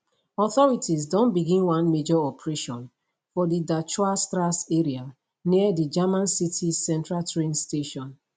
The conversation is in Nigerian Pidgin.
authorities don begin one major operation for di dachauer strasse area near di german city central train station